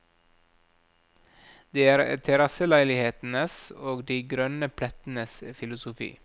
Det er terrasseleilighetenes og de grønne plettenes filosofi.